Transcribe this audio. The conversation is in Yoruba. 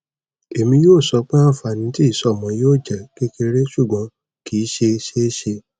emi yoo sọ pe anfani ti isọmọ yoo jẹ kekere ṣugbọn kii ṣe ṣeeṣe